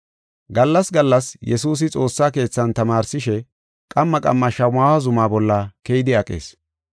Gallas gallas Yesuusi xoossa keethan tamaarsishe, qamma qamma Shamaho zuma bolla keyidi aqees.